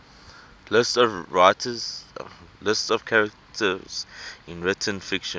lists of characters in written fiction